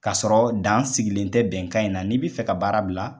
Kasɔrɔ dan sigilen tɛ bɛnkan in na n'i bɛ fɛ ka baara bila.